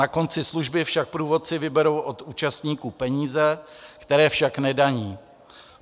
Na konci služby však průvodci vyberou od účastníků peníze, které však nedaní.